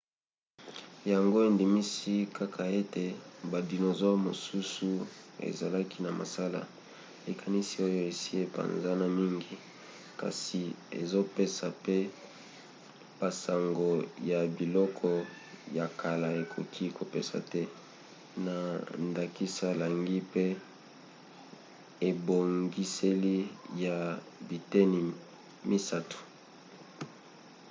yango endimisi kaka te ete badinosaure mosusu ezalaki na masala likanisi oyo esi epanzana mingi kasi ezopesa pe basango ya biloko ya kala ekoki kopesa te na ndakisa langi pe ebongiseli ya biteni misato